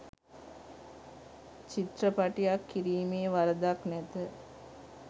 චිත්‍රපටියක් කිරීමේ වරදක් නැත.